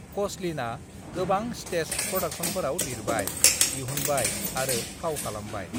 "क'चलिनआ गोबां स्टेज प्र'डाक्शनफोराव लिरबाय, दिहुनबाय आरो फाव खालामबाय।"